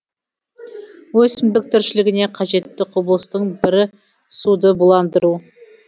өсімдік тіршілігіне қажетті құбылыстың бірі суды буландыру